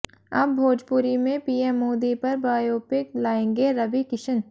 अब भोजपुरी में पीएम मोदी पर बायोपिक लाएंगे रवि किशन